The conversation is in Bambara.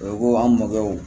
O ko an mɔkɛw